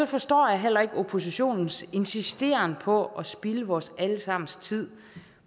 forstår jeg heller ikke oppositionens insisteren på at spilde vores alle sammens tid